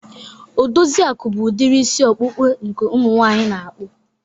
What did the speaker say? Odoziaku bụ udiri isi ọkpụkpụ nke umu nwaanyị na-akpụ.